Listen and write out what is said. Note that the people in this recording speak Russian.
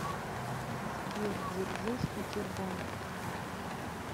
сбер дзержинский тербанк